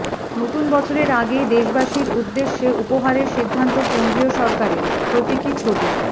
নতুন বছরের আগেই দেশবাসীর উদ্দেশে উপহারের সিদ্ধান্ত কেন্দ্রীয় সরকারের প্রতীকী ছবি